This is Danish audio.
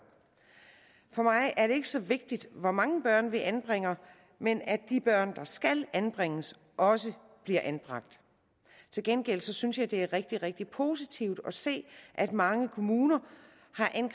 for mig er det ikke så vigtigt hvor mange børn vi anbringer men at de børn der skal anbringes også bliver anbragt til gengæld synes jeg det er rigtig rigtig positivt at se at mange kommuner